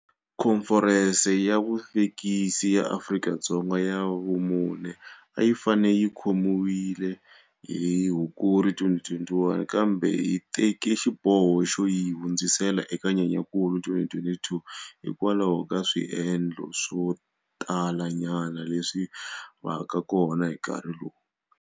Khomferense ya Vuvekisi ya Afrika-Dzonga ya vumune a yi fanele yi khomiwile hi Hukuri 2021, kambe hi teke xiboho xo yi hundzisela eka Nyenyankulu 2022 hi kwalaho ka swiendleko swo talanyana leswi vaka kona hi nkarhi lowu.